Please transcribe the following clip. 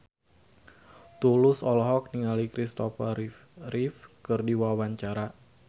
Tulus olohok ningali Kristopher Reeve keur diwawancara